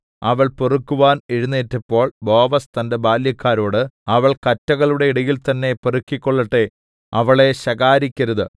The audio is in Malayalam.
അവൾ പെറുക്കുവാൻ എഴുന്നേറ്റപ്പോൾ ബോവസ് തന്റെ ബാല്യക്കാരോടു അവൾ കറ്റകളുടെ ഇടയിൽതന്നേ പെറുക്കിക്കൊള്ളട്ടെ അവളെ ശകാരിക്കരുത്